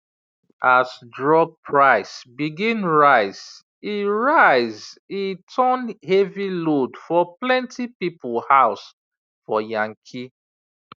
as drug price begin rise e rise e turn heavy load for plenty people house for yankee